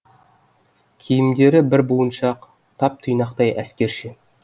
киімдері бір буыншақ тап тұйнақтай әскерше